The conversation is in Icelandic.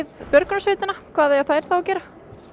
björgunarsveitanna hvað eiga þær þá að gera